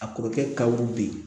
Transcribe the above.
A kɔrɔkɛ kabu bɛ yen